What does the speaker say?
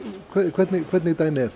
hvernig hvernig dæmi